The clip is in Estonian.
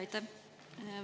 Aitäh!